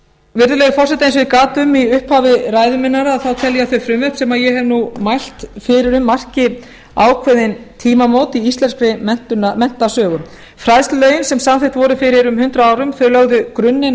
virðulegi forseti eins og ég gat um í upphafi ræðu minnar þá tel ég þau frumvörp sem ég hef mælt fyrir um marki ákveðin tímamót í íslenskri menntasögu fræðslulögin sem samþykkt voru fyrir um hundrað árum lögðu grunninn